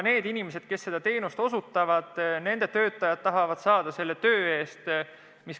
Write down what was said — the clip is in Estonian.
Inimesed, kes seda teenust osutavad, tahavad saada selle töö eest õiglast tasu.